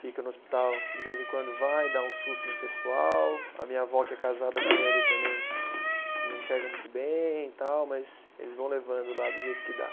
Fica no hospital, de vez em quando vai, dá um susto no pessoal, a minha avó que é casada com ele também não enxerga muito bem e tal, mas eles vão levando lá do jeito que dá.